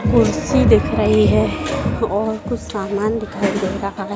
कुर्सी दिख रही है और कुछ सामान दिखाई दे रहा है।